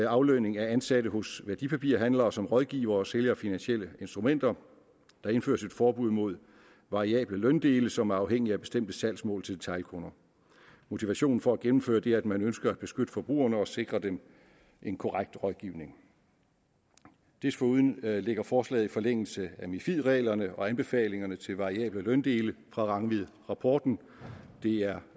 aflønning af ansatte hos værdipapirhandlere som rådgiver og sælger finansielle instrumenter der indføres et forbud mod variable løndele som er afhængige af bestemte salgsmål til detailkunder motivationen for at gennemføre det er at man ønsker at beskytte forbrugerne og sikre dem en korrekt rådgivning desuden ligger forslaget i forlængelse af mifid reglerne og anbefalingerne til variable løndele fra rangvidrapporten det er